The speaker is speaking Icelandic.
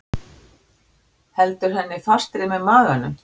Heldur henni fastri með maganum.